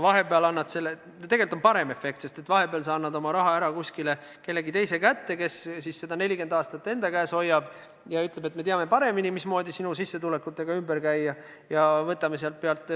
Või tegelikult on parem efekt, sest vahepeal sa ei anna oma raha ära kellegi teise kätte, kes seda 40 aastat enda käes hoiab ja ütleb, et me teame paremini, mismoodi sinu sissetulekutega ümber käia.